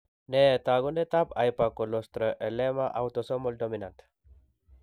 Nee taakunetaab Hypercholesterolema, autosomal dominant?